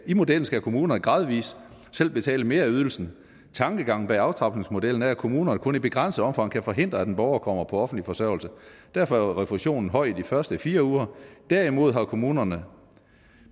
i modellen skal kommunerne gradvis selv betale mere af ydelsen tankegangen bag aftrapningsmodellen er at kommunerne kun i begrænset omfang kan forhindre at en borger kommer på offentlig forsørgelse derfor er refusionen høj de første fire uger derimod har kommunerne